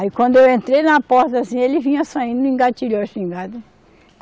Aí quando eu entrei na porta assim, ele vinha saindo, engatilhou a espingarda.